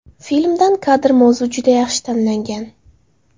Filmdan kadr Mavzu juda yaxshi tanlangan.